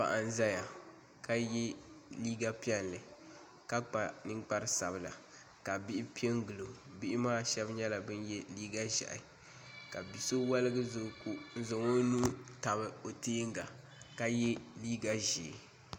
Paɣa n ʒɛya ka yɛ liiga piɛlli ka kpa ninkpari sabila ka bihi piɛ n gilo bihi maa shab nyɛla bin yɛ liiga ʒiɛhi ka bia so woligi ʒɛ o ko n zaŋ k nuu tabi o tiɛnga ka yɛ liiga ʒiɛ